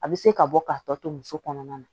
A bɛ se ka bɔ k'a tɔ to muso kɔnɔna na